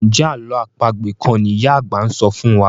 Njé àlọ́ àpagbè kán ní ìyá àgbà sọfún wá?